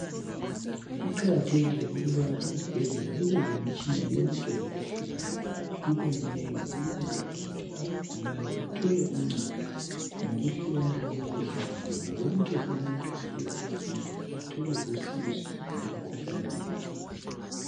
Kuqakathekile ukubana ezibhedlela kube lemitshina yonke ngokuhlukana kwayo, ibe minengi ukwenzala ukuthi abagulayo bathole uncedo ngokwehlukana kwemikhuhlane yabo, wonke umuntu ofika esibhedlela athole usizo ngomkhuhlane wakhe.